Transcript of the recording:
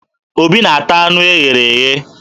Obi na-ata anụ e ghere eghe